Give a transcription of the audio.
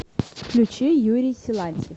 включи юрий силантьев